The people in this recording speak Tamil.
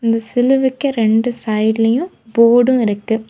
இந்த சிலுவைக்கு ரெண்டு சைடுலயும் போர்டும் இருக்கு.